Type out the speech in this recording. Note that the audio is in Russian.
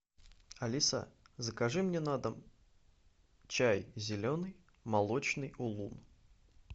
алиса закажи мне на дом чай зеленый молочный улун